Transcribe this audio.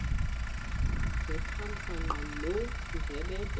ngethamsanqa loo ndlebende